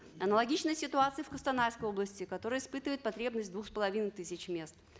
аналогичная ситуация в костанайской области которая испытывает потребность двух с половиной тысяч мест